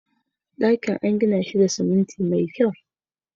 Dakin an gina shi da siminti mai kyau